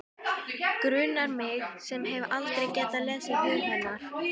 Grunar mig sem hef aldrei getað lesið hug hennar.